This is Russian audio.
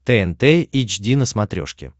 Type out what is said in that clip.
тнт эйч ди на смотрешке